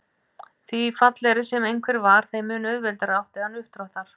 Því fallegri sem einhver var þeim mun auðveldara átti hann uppdráttar.